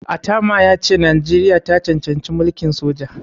Atama ya ce Najeriya ta cancanci mulkin soja.